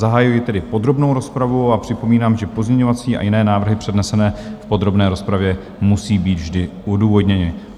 Zahajuji tedy podrobnou rozpravu a připomínám, že pozměňovací a jiné návrhy přednesené v podrobné rozpravě musejí být vždy odůvodněny.